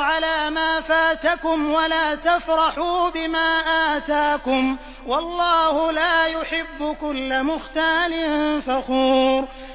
عَلَىٰ مَا فَاتَكُمْ وَلَا تَفْرَحُوا بِمَا آتَاكُمْ ۗ وَاللَّهُ لَا يُحِبُّ كُلَّ مُخْتَالٍ فَخُورٍ